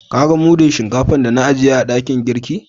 Ka gan mudun shinkafa da na ajiye a dakin girki?